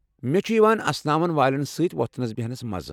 مےٚ چھُ یوان اسناون والٮ۪ن سۭتۍ وۄتھنس بہنس مزٕ۔